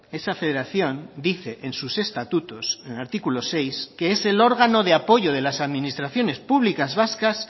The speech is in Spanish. esa federación dice en sus estatutos en el artículo seis que es el órgano de apoyo de las administraciones públicas vascas